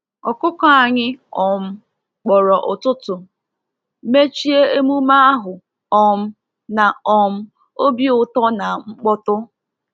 Ọkụkọ anyị um kpọrọ ụtụtụ, mechie emume ahụ um na um obi ụtọ na mkpọtụ.